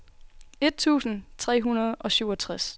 et tusind tre hundrede og syvogtres